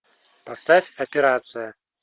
поставь операция